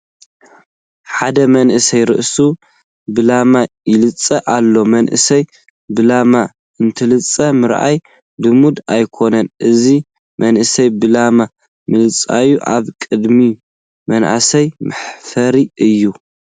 ሓደ መንእሰይ ርእሱ ብላማ ይላፀ ኣሎ፡፡ መናእሰይ ብላማ እንትላፀዩ ምርኣይ ልሙድ ኣይኮነን፡፡ እዚ መንእሰይ ብላማ ምልፃዪ ኣብ ቅድሚ መናእሰይ መሕፈሪ እዩ፡፡